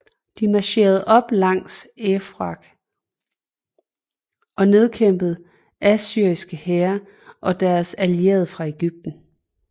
De marcherede op langs Eufrat og nedkæmpede assyriske hære og deres allierede fra Egypten